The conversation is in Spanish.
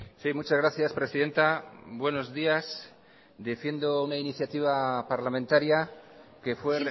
sí muchas gracias presidenta buenos días defiendo una iniciativa parlamentaria que fue